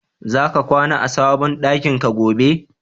Zaka kwana a sabon ɗakin ka gobe?